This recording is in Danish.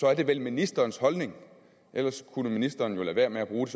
er det vel ministerens holdning ellers kunne ministeren jo lade være med at bruge